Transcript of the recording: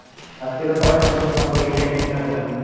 আজকে সবাই ছুটবে প্রথম থেকে leg piece নেওয়ার জন্য